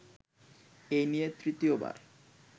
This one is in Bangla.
এই নিয়ে তৃতীয়বার